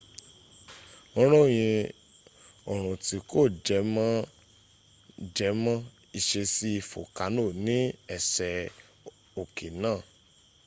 wọ́n ròyìn orun tí kò jẹ mọ́ jẹmọ́ ìṣesí folkano ní ẹsẹ̀ oké náà